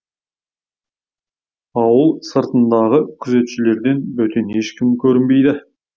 ауыл сыртындағы күзетшілерден бөтен ешкім көрінбейді